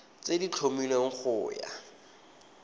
tse di tlhomilweng go ya